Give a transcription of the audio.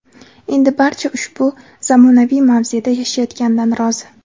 Endi barcha ushbu zamonaviy mavzeda yashayotganidan rozi.